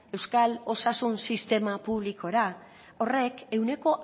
euskal osasun sistema publikora horrek ehuneko